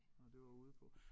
Nåh det var ude på